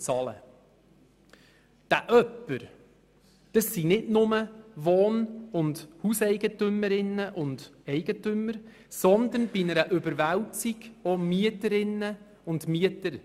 Bei diesem jemand handelt es sich nicht nur um Wohn- und Hauseigentümerinnen und -eigentümer, sondern je nachdem auch um Mieterinnen und Mieter.